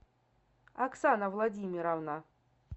оксана владимировна